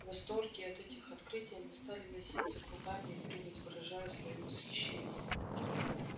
в восторге от этих открытий они стали носиться кругами и прыгать выражая своё восхищение